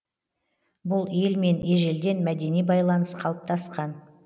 бұл елмен ежелден мәдени байланыс қалыптасқан